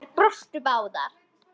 Þær brostu báðar.